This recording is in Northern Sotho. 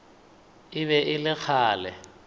e be e le kgale